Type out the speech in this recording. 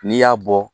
N'i y'a bɔ